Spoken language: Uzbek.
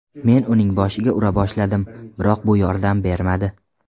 Men uning boshiga ura boshladim, biroq bu yordam bermadi.